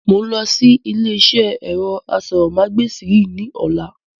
Mo ń lọ sí ilé iṣẹ́ ẹ̀rọ aṣórómagbesìn yìí ni ọ̀la.